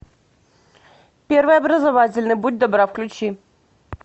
первый образовательный будь добра включи